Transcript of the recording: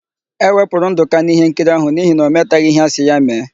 E wepụrụ Ndụka n'íhénkiri áhụ̀ n'ihi na ọ metaghị íhé asị ya mee.